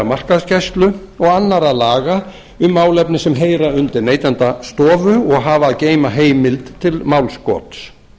markaðsgæslu og annarra laga um málefni sem heyra undir neytendastofu og hafa að geyma heimild til málskots